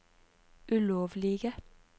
ulovlige